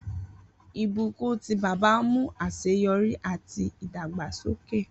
Ibukun ti baba mu aseyori ati idagbasoke